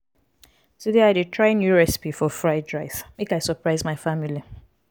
today i dey try new recipe for fried rice make i surprise my family.